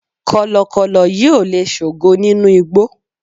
kọlọkọlọ yíò le sogo ninu igbó